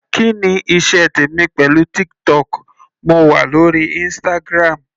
Kí ni iṣẹ́ tèmi pẹ̀lú TikTok, mo wà lórí Instagram.